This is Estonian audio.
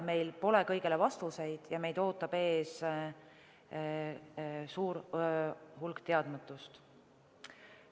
Meil pole kõigele vastuseid ja meid ootab ees suur hulk teadmatust.